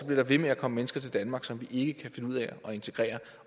bliver ved med at komme mennesker til danmark som vi ikke kan finde ud af at integrere